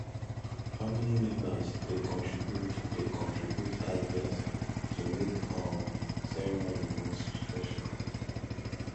family members dey contribute dey contribute ideas to make um ceremony more special